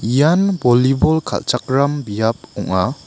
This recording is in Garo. ian bolibol kalchakram biap ong·a.